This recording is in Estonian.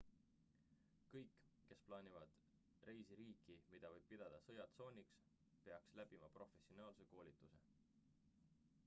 kõik kes plaanivad reisi riiki mida võib pidada sõjatsooniks peaks läbima professionaalse koolituse